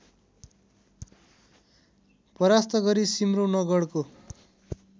परास्त गरी सिम्रौनगढको